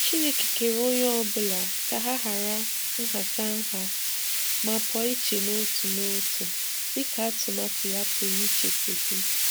Chineke kere onye ọbụla ka ha hara nhatanha ma pụọ iche n'otu n'otu dịka atụmatụ ya pụrụ iche si dị.